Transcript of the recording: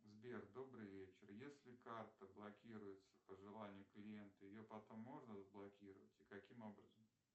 сбер добрый вечер если карта блокируется по желанию клиента ее потом можно разблокировать и каким образом